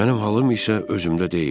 Mənim halım isə özümdə deyildi.